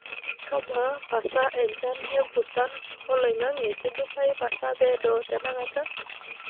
amaa pasa enchan empusan olang'ange' kidimayu pasa peedo tenakata